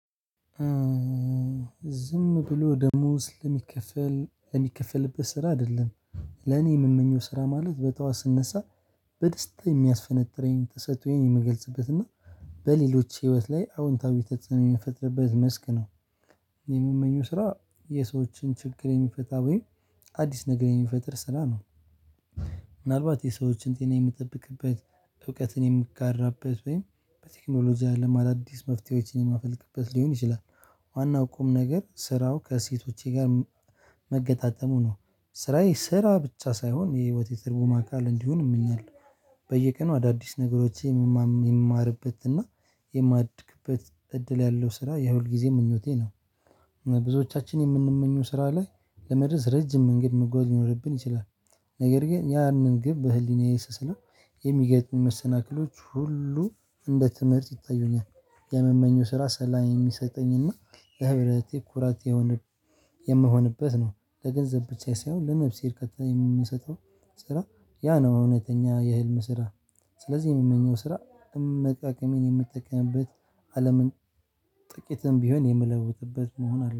ዝም ብሎ ደሞዝ ለሚከፈል የሚከፈልበት ስራ አይደለም። ለኔ የምመኘው ስራ ማለት በጠዋት ስነሳ በደስታ የሚያስፈነጥረኝን ተሰጥኦየን የምገልጽበትና በሌሎች ህይወት ላይ አዎንታዊ ተጽዕኖ የሚፈጥርበት መስክ ነው። የሚመኘው ስራ የሰዎችን ችግር የሚፈታ ወይ አዲስ ነገር የሚፈጥር ስራ ነው። ምናልባት የሰዎችን ጤና የምጠብቅበት እውቀትን የምጋራበት ወይም በቴክኖሎጂ አለም አዳዲስ መፍትሄዎችን የማፈልቅበት ሊሆን ይችላል። ዋናው ቁም ነገር ስራው ከሴቶቼ ጋር መገጣጠሙ ነው። ስራዬ ስራ ብቻ ሳይሆን የህይወቴ ትርጉም አካል እንዲሆን እመኛለሁ። በየቀኑ አዳዲስ ነገሮች የምማርበትና የማድግበት እድል ያለው ስራ የሁልጊዜ ምኞቴ ነው። ብዙዎቻችን የምንመኙ ስራ ላይ ለመድረስ ረጅም መንገድ መጓዝ ሊኖርብን ይችላል። ነገር ግን ያንን ግብ በህሊናዬ ስስለው የሚገጥሙኝ መሰናክሎች ሁሉ እንደ ትምህርት ይታዩኛል። የምመኘው ስራ ሰላም የሚሰጠኝና ህብረቴ ኩራቴ የምሆንበት ነው። ለገንዘብ ብቻ ሳይሆን ለነፍሴ እርካታ የሚሰጠው ስራ ያ ነው እውነተኛ የህልም ስራ። ስለዚህ የምመኘው ስራ እምቅ አቅሜን የምጠቀምበት አለምን ጥቂትም ቢሆን የምለውጥበት መሆን አለበት